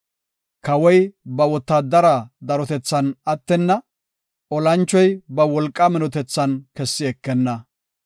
Kawoy ba wotaadare darotethan attenna; olanchoy ba wolqaa minotethan kessi ekenna.